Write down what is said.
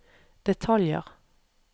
detaljer